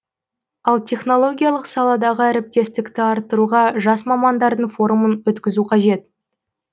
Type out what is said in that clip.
ал технологиялық саладағы әріптестікті арттыруға жас мамандардың форумын өткізу қажет